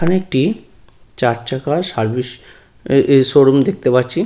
এখানে একটি চার চাকার সার্ভিস এ এ শোরুম দেখতে পাচ্ছি।